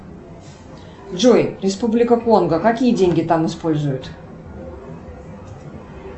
джой республика конго какие деньги там используют